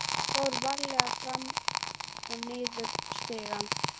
Ég fór varlega fram og niður stigann.